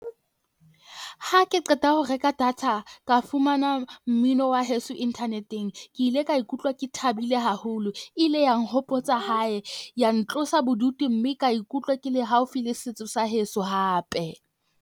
Ha ke qeta ho reka data, ka fumana mmino wa heso inthaneteng ke ile ka ikutlwa ke thabile haholo. E ile ya nhopotsa hae ya ntlosa bodutu mme ka ikutlwa ke le haufi le setso sa heso hape.